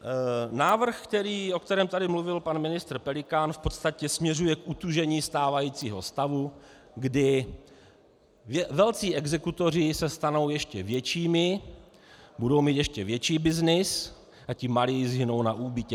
Návrh, o kterém tady mluvil pan ministr Pelikán, v podstatě směřuje k utužení stávajícího stavu, kdy velcí exekutoři se stanou ještě většími, budou mít ještě větší byznys, a ti malí zhynou na úbytě.